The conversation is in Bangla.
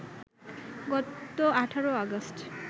গত ১৮ অগাস্ট